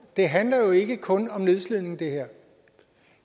det handler jo ikke kun om nedslidning det